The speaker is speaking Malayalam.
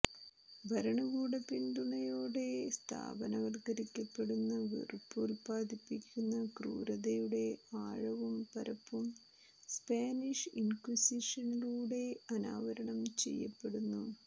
ഭരണകൂട പിന്തുണയോടെ സ്ഥാപനവത്കരിക്കപ്പെടുന്ന വെറുപ്പ് ഉല്പാദിപ്പിക്കുന്ന ക്രൂരതയുടെ ആഴവും പരപ്പും സ്പാനിഷ് ഇന്ക്വിസിഷനിലൂടെ അനാവരണം ചെയ്യപ്പെടുന്നു